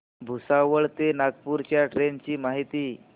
भुसावळ ते नागपूर च्या ट्रेन ची माहिती